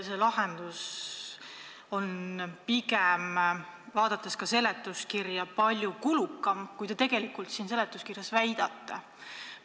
See lahendus on pigem palju kulukam, kui te seletuskirjas väidate.